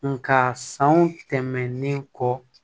Nga san wo tɛmɛnen kɔ